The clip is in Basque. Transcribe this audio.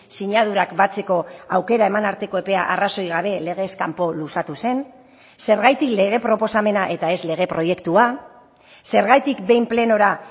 sinadurak batzeko aukera eman arteko epea arrazoi gabe legez kanpo luzatu zen zergatik lege proposamena eta ez lege proiektua zergatik behin plenora